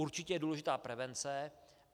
Určitě je důležitá prevence.